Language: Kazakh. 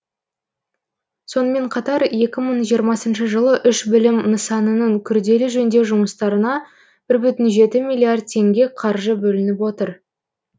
сонымен қатар екі мың жиырмасыншы жылы үш білім нысанының күрделі жөндеу жұмыстарына бір бүтін жеті миллиард теңге қаржы бөлініп отыр